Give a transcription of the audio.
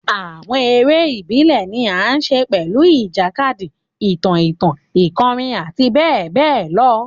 Àwọn eré ìbílẹ̀ ní í ṣe pẹ̀lú ìjàkadì, ìtàn ìtàn, kíkọrin, àti bẹ́ẹ̀ bẹ́ẹ̀ lọ.